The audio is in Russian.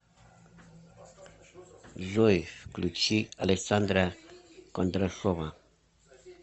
джой включи александра кондрашова